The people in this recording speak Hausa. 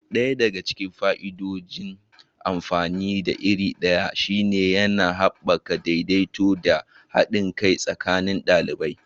Ɗaya daga cikin fa'idodin amfani da iri ɗaya shine yana haɓaka daidaito da haɗin kai tsakanin ɗalibai.